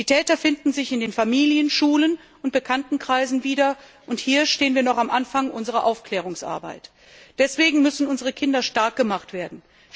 Die Täter finden sich in den Familien, Schulen und Bekanntenkreisen wieder. Hier stehen wir noch am Anfang unserer Aufklärungsarbeit. Deswegen müssen unsere Kinder stark gemacht werden.